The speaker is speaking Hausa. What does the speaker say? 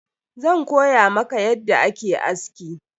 Zan koya maka yadda ake aski.